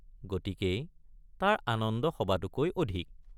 গতিকেই তাৰ আনন্দ সবাতোকৈ অধিক।